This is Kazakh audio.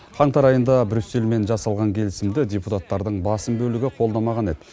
қаңтар айында брюссельмен жасалған келісімді депутаттардың басым бөлігі қолдамаған еді